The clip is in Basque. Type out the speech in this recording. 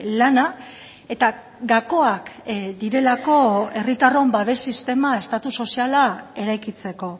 lana eta gakoak direlako herritarron babes sistema estatu soziala eraikitzeko